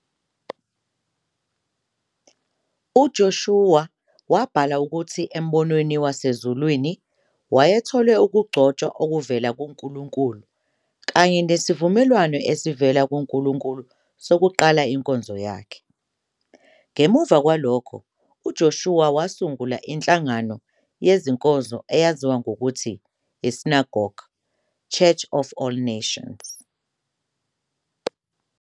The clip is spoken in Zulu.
UJoshua wabhala ukuthi embonweni wasezulwini wayethole ukugcotshwa okuvela kuNkulunkulu kanye nesivumelwano esivela kuNkulunkulu sokuqala inkonzo yakhe. Ngemuva kwalokhu, uJoshua wasungula inhlangano yezinkonzo eyaziwa ngokuthi iSynagogue, Church of All Nations.